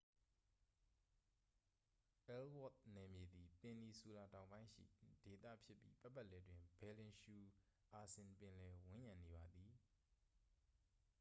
အယ်လ်ဝါ့သ်နယ်မြေသည် ပင်နီဆူလာတောင်ပိုင်းရှိ ဒေသဖြစ်ပြီး ပတ်ပတ်လည်တွင် ဘယ်လင်ရှူအာဆင် ပင်လယ် ဝန်းရံနေပါသည်